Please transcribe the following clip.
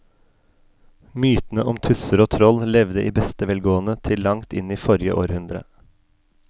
Mytene om tusser og troll levde i beste velgående til langt inn i forrige århundre.